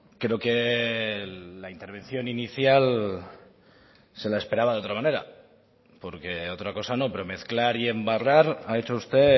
creo que la intervención inicial se la esperaba de otra manera porque otra cosa no pero mezclar y embarrar ha hecho usted